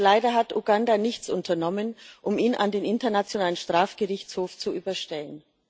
Leider hat Uganda nichts unternommen, um ihn an den Internationalen Strafgerichtshof zu überstellen.